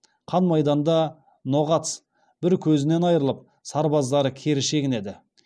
қан майданда ноғац бір көзінен айырылып сарбаздары кері шегінеді